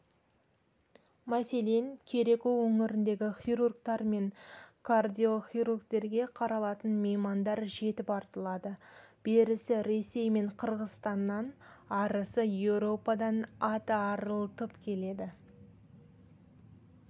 мәселен кереку өңіріндегі хирургтер мен кардиохирургтерге қаралатын меймандар жетіп артылады берісі ресей мен қырғызстаннан арысы еуропадан ат арылтып келеді